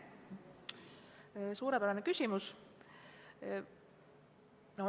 Suurepärane küsimus!